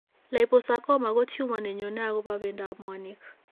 Liposarcoma ko tumor ne nyone akopo bendoap mwaaniik.